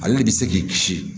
Ale de bɛ se k'i kisi